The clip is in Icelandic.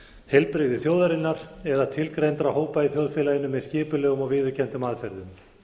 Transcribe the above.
heilbrigði þjóðarinnar eða tilgreindra hópa í þjóðfélaginu með skipulegum og viðurkenndum aðferðum